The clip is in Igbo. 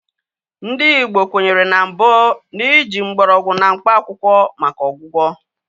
Ndị Igbo kwenyere mbụ na ị ji mgbọrọgwụ na mkpaakwụkwọ maka ọgwụgwọ